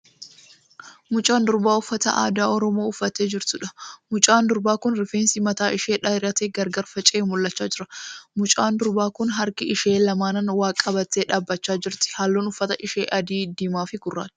Mucaa durbaa uffata aadaa oromoo uffattee jirtuudha. Mucaan durbaa kun rifeensi mataa ishee dheeratee gargar faca'ee mul'achaa jira. Mucaan durbaa kun harka ishee lamaaniin waa qabattee dhaabbachaa jirti. Halluun uffata ishee adii, diimaa fi gurraacha.